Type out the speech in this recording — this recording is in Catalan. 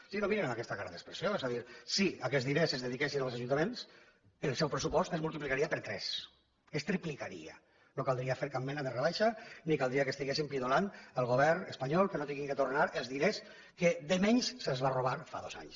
sí no em mirin amb aquesta cara d’expressió és a dir si aquests diners es dediquessin als ajuntaments el seu pressupost es multiplicaria per tres es triplicaria no caldria fer cap mena de rebaixa ni caldria que estiguéssim pidolant al govern espanyol que no hagin de tornar els diners que de menys se’ns van robar fa dos anys